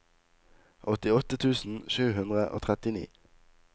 åttiåtte tusen sju hundre og trettini